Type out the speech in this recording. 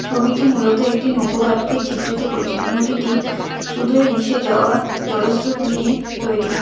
ছবিটি মূলত একটি নৌকো ঘাটকে চিত্রিত করছে নদীটি সুদুরে মিশে যাওয়া জলস্রোত নিয়ে তৈরি।